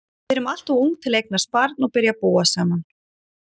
Við erum alltof ung til að eignast barn og byrja að búa saman.